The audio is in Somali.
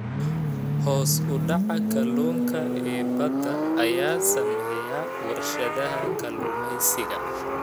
Hoos u dhaca kalluunka ee badda ayaa saameeya warshadaha kalluumeysiga.